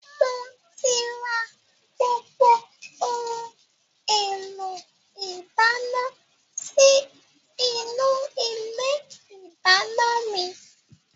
Mo ti rà gbogbo ohun èlò ìdáná sì inú ilé ìdáná mi.